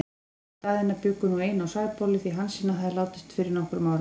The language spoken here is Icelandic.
Jón og Daðína bjuggu nú ein í Sæbóli, því Hansína hafði látist fyrir nokkrum árum.